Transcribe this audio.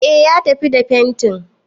E, ya tafi da fentin.